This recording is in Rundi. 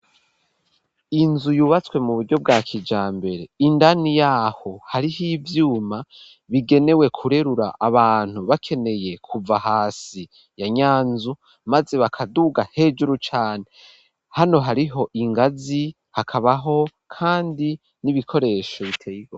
Inzu yubatswe mu buryo bwa kijambere indani yaho hariho ivyuma bigenewe kurerura abantu bakeneye kuva hasi ya nya nzu maze bakaduga hejuru cane hano hariho ingazi hakabaho kandi n'ibikoresho biteye.